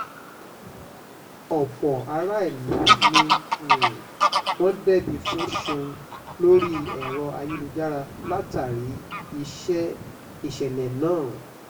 ọ̀pọ̀ aráàlú ni um wọ́n dẹ́bi fún ṣéun lórí ẹ̀rọ ayélujára látàrí ìṣẹ̀lẹ̀ náà um